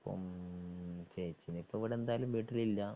ഉം ശരിക്കും ഇപ്പൊ ഇവിടെ എന്തായാലും വീട്ടിലില്ല.